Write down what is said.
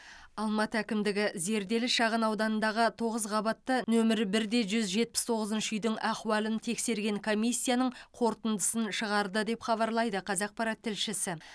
алматы әкімдігі зерделі шағынауданындағы тоғыз қабатты нөмірі бірде жүз жетпіс тоғызыншы үйдің ахуалын тексерген комиссияның қорытындысын шығарды деп хабарлайды қазақпарат тілшісі